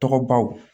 Tɔgɔbaw